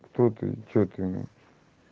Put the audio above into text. что ты что ты